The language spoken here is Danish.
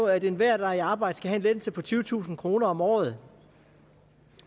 er at enhver der er i arbejde skal have en lettelse på tyvetusind kroner om året